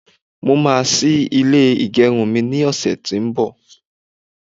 mo ma sí ilè igerun mi ni ọsẹ ti o n bo